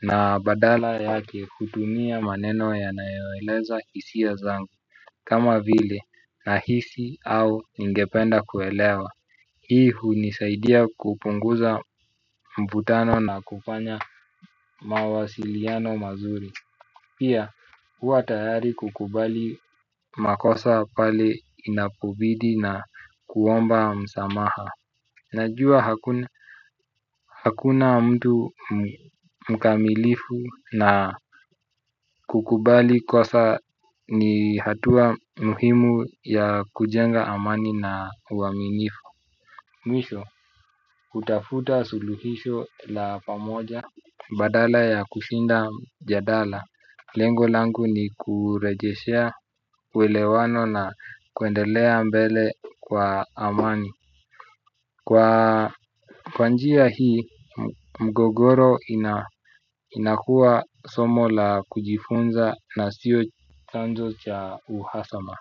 Na badala yake hutumia maneno yanayoeleza hisia zangu. Kama vile na hisi au ningependa kuelewa hii hunisaidia kupunguza mvutano na kufanya mawasiliano mazuri. Pia huwa tayari kukubali makosa pale inapobidi na kuomba msamaha. Najua hakuna mtu mkamilifu na kukubali kosa ni hatua muhimu ya kujenga amani na uaminifu. Mwisho, hutafuta suluhisho la pamoja badala ya kushinda mjadala. Lengo langu ni kurejeshea uelewano na kuendelea mbele kwa amani. Kwa njia hii mgogoro inakuwa somo la kujifunza na sio chanzo cha uhasama.